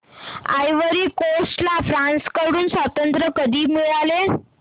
ivory Coast ला France कडून स्वातंत्र्य कधी मिळाले